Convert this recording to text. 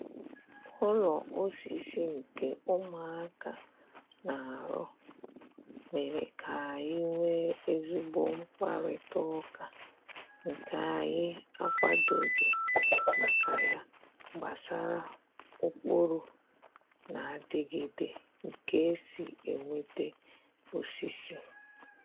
Ụlọ osisi nke ụmụaka na-arụ mere k'anyị nwee ezigbo mkparịta ụka nke anyị akwadoghị maka ya gbasara ụkpụrụ na-adịgịde nke e si enweta osisi.